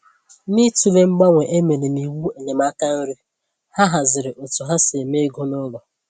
N’ịtụle mgbanwe e mere n’iwu enyemaka nri, ha hazịrị otú ha si eme égo n'ụlọ